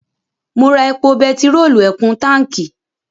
Mo ra epo bẹtiróòlù ẹ̀kún táǹkí.